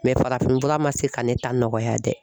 farafinfura man se ka ne ta nɔgɔya dɛ.